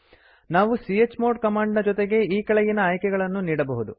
ನಾವು chmod command ನ ಜೊತೆಗೆ ಈ ಕೆಳಗಿನ ಆಯ್ಕೆಗಳನ್ನು ನೀಡಬಹುದು